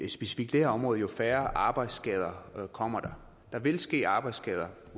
specifikt det her område jo færre arbejdsskader kommer der der vil ske arbejdsskader